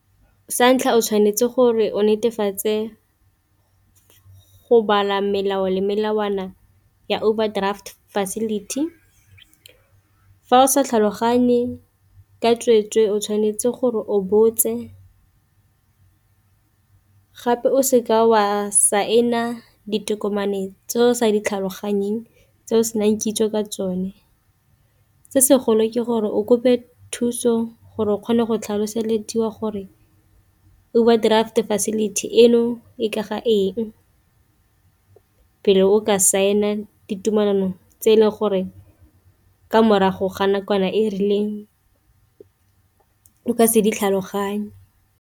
Sa ntlha o tshwanetse gore o netefatse go bala melao le melawana ya overdraft facility fa o sa tlhaloganye ka tsweetswe o tshwanetse gore o botse, gape o seka wa saena ditokomane tseo sa tlhaloganyeng tse o senang kitso ka tsone, se se golo ke gore o kope thuso gore o kgone go tlhaloselediwa gore overdraft facility eno e ka ga eng, pele o ka saene ditumelano tse e leng gore ke morago ga nakwana e e rileng o ka se di tlhaloganye.